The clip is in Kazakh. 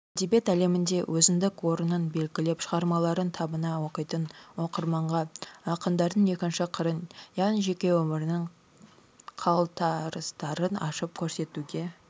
әдебиет әлемінде өзіндік орнын белгілеп шығармаларын табына оқитын оқырманға ақындардың екінші қырын яғни жеке өмірінің қалтарыстарын ашып көрсетуге